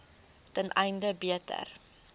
ten einde beter